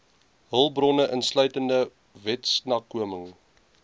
hulpbronne insluitende wetsnakoming